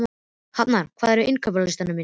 Hafnar, hvað er á innkaupalistanum mínum?